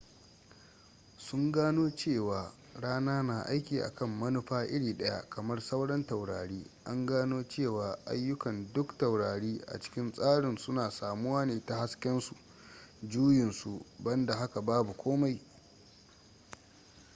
sun gano cewa rana na aiki akan manufa iri daya kamar sauran taurari an gano cewa ayukkan duk taurari a cikin tsarin suna samuwa ne ta hasken su juyin su banda haka babu komai